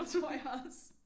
Tror jeg også